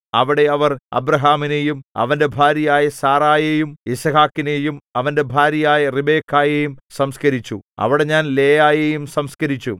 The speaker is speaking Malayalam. അവിടെ അവർ അബ്രാഹാമിനെയും അവന്റെ ഭാര്യയായ സാറായെയും യിസ്ഹാക്കിനെയും അവന്റെ ഭാര്യയായ റിബെക്കായെയും സംസ്കരിച്ചു അവിടെ ഞാൻ ലേയായെയും സംസ്കരിച്ചു